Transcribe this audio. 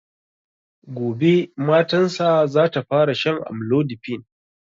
Gobe matan sa zata fara shan amlodipine